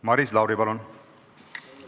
Maris Lauri, palun!